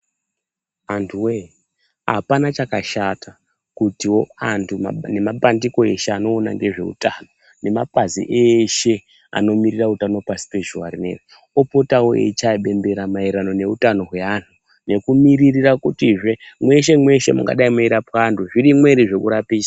Antuwee apana chakashata, kutiwo antu, nemapandiko eshe anoona ngezveutano , nemapazi eshe anomirira utano pasi pezhuwa rineri, opotawo eichaye bembera maererano neutano hweanhu, nekumirira kutizve, mweshe -mweshe mungadai mweirapwa antu, zvirimwo ere zvekurapisa.